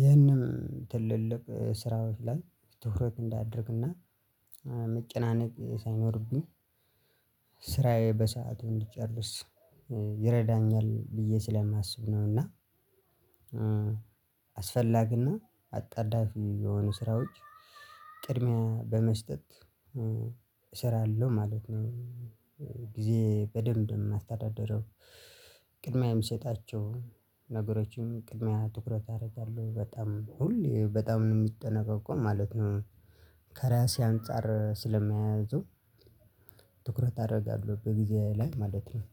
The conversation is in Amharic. ይህንም ትልልቅ ስራዎች ላይ ትኩረት እንዳደርግና መጨናነቅ ሳይኖርብኝ ስራዬ በሰአቱ እንድጨርስ ይረዳኛል ብዬ ስለማስብ ነው። እና እ አስፈላጊ እና አጣዳፊ የሆኑ ስራዎች ቅድሚያ በመስጠት እ እሰራለሁ ማለት ነው። ጊዜዬን በደንብ ነው ማስተዳድረው። ቅድሚያም የምሰጣቸው ነገሮችን ቅድሚያ ትኩረት አደርጋለሁ በጣም ሁሌ በጣም የምጠነቀቀው ማለት ነው። ከራሴ አንፃር ስለሚያያዙ ትኩረት አደርጋለሁ በጊዜ ላይ ማለት ነው።